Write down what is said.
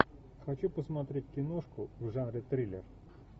хочу посмотреть киношку в жанре триллер